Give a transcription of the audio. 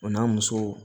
O n'a musow